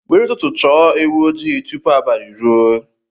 Were ụtụtụ chọọ ewu ojii tupu abalị ruo.